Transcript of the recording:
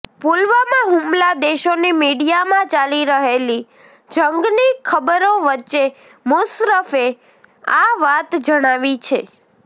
પુલવામાં હુમલા દેશોની મીડિયામાં ચાલી રહેલી જંગની ખબરો વચ્ચે મુશર્રફે આ વાત જણાવી છે